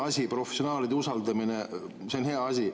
Professionaalide usaldamine on hea asi.